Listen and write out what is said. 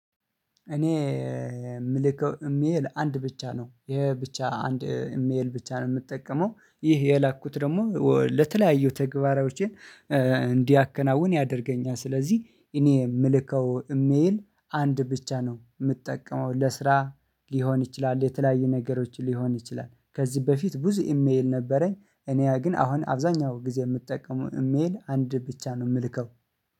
እኔ የምልከው እሜል አንድ ብቻ ነው ይሄ ብቻ አንድ እሜል ብቻ ነው ምጠቀመው ይህ የላኩት ደሞ ለተለያዩ ተግባራዋቸ እንዲያከናውን ያደርገኛል። ስለዚህ እኔ ምልከው እሜል አንድ ብቻ ነው ምጠቀመው ለስራ ሊሆን ይችላል የተለያዩ ነገሮች ሊሆን ይችላል። ከዚህ በፊት ብዙ ኢሜል ነበረኝ። እኔ ግን አሁን አብዛኛው ጊዜ ምጠቀመው እሜል አንድ ብቻ ነው ምልከው